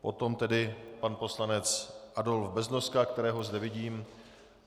Potom tedy pan poslanec Adolf Beznoska, kterého zde vidím.